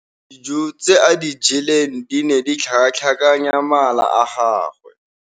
Dijô tse a di jeleng di ne di tlhakatlhakanya mala a gagwe.